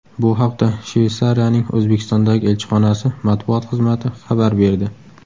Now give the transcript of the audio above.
Bu haqda Shveysariyaning O‘zbekistondagi elchixonasi matbuot xizmati xabar berdi.